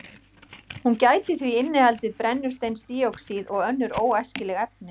Hún gæti því innihaldið brennisteinsdíoxíð og önnur óæskileg efni.